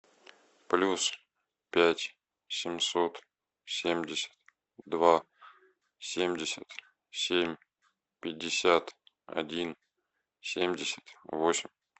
плюс пять семьсот семьдесят два семьдесят семь пятьдесят один семьдесят восемь